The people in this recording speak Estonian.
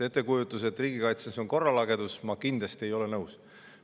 Ettekujutusega, et riigikaitses on korralagedus, ma kindlasti ei ole nõus.